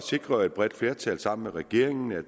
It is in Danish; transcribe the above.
sikrede et bredt flertal sammen med regeringen at